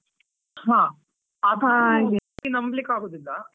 ಹ ನಂಬಲಿಕ್ಕೇ ಆಗುದಿಲ್ವಾ.